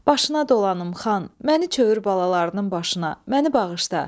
Başına dolanım, xan, məni çevür balalarının başına, məni bağışla.